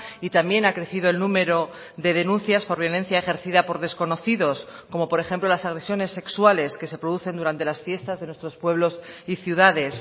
y también ha crecido el número de denuncias por violencia ejercida por desconocidos como por ejemplo las agresiones sexuales que se producen durante las fiestas de nuestros pueblos y ciudades